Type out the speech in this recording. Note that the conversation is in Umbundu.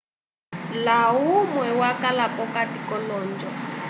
layumwe wakala p'okati k'olonjo